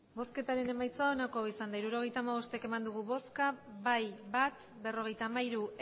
emandako botoak hirurogeita hamabost bai bat ez berrogeita hamairu